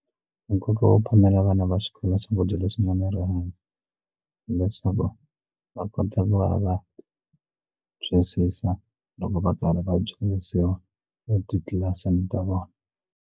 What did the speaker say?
Nkoka wo phamela vana va xikolo swakudya leswi nga ni rihanyo hileswaku va kota ku va va twisisa loko va karhi va dyondzisiwa etitlilasini ta vona.